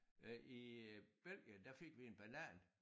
Øh i øh Belgien der fik vi en banan